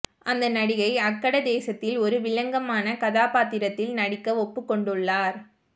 அந்த நடிகை அக்கட தேசத்தில் ஒரு வில்லங்கமான கதாபாத்திரத்தில் நடிக்க ஒப்புக் கொண்டுள்ளார்